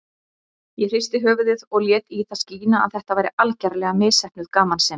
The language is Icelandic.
Ég hristi höfuðið og lét í það skína að þetta væri algerlega misheppnuð gamansemi.